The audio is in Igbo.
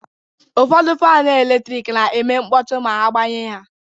Ụfọdụ fan eletrik na-eme mkpọtụ ma itinye ha ọnụ.